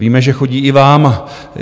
Víme, že chodí i vám.